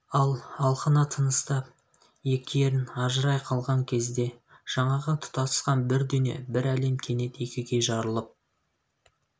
ал алқына тыныстап екі ерін ажырай қалған кезде жаңағы тұтасқан бір дүние бір әлем кенет екіге жарылып